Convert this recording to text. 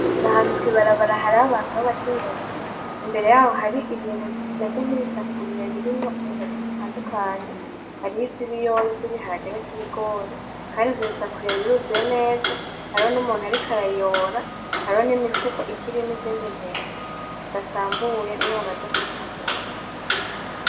N'ahantu kwibarabara hari abantu babakenyezi. Imbere yaho hari ibintu bimeze nkibisafuriya birimwo intete zitandukanye, hariyo izibiyoba, izibiharage nizibigori. Kandi ivyobisafuriya biruzuye neza hariho numuntu ariko arayora, hariho nimifuko ikirimwo izindi ntete, zidasambuye niyo bamaze gusambura.